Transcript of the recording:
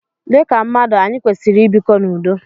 Dịka mmadụ, anyị kwesịrị i bikọ n'udo.